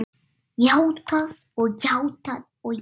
Játað og játað og játað.